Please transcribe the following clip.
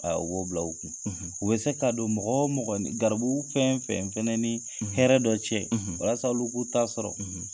u b'o bila u kun, u bɛ se ka don mɔgɔ o mɔgɔ, garibu fɛn o fɛn ni hɛrɛ dɔ cɛ, walasasa olu k'u'a sɔrɔ, .